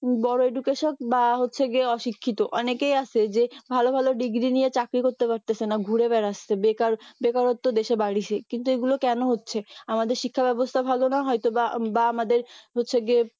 বড় education বা হচ্ছে গিয়ে অশিক্ষিত অনেকেই আছে যে ভালো ভালো degree নিয়ে চাকরি করতে পারতেছে না ঘুরে বেরাচ্ছে বেকার বেকারত্ব দেশে বাড়ছে কিন্তু এগুলো কেন হচ্ছে আমাদের শিক্ষা ব্যবস্থা ভালো না হয়তোবা বা আমাদের হচ্ছে গিয়ে